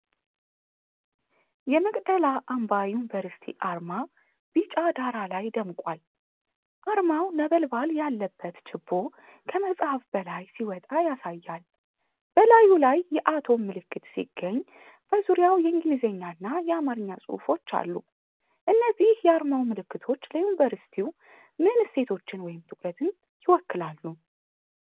የመቅደላ አምባ ዩኒቨርሲቲ አርማ ቢጫ ዳራ ላይ ደምቋል። አርማው ነበልባል ያለበት ችቦ ከመጽሐፍ በላይ ሲወጣ ያሳያል። በላዩ ላይ የአቶም ምልክት ሲገኝ፣ በዙሪያው የእንግሊዝኛና የአማርኛ ጽሑፎች አሉ። እነዚህ የአርማው ምልክቶች ለዩኒቨርሲቲው ምን እሴቶችን ወይም ትኩረትን ይወክላሉ?